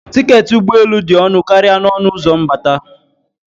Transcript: Tiketi ụgbọ elu dị ọnụ karịa n'ọnụ ụzọ mbata.